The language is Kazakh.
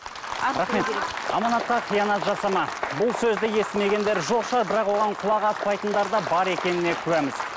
рахмет аманатқа қиянат жасама бұл сөзді естімегендер жоқ шығар бірақ оған құлақ аспайтындар да бар екеніне куәміз